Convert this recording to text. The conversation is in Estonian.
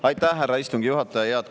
Aitäh, härra istungi juhataja!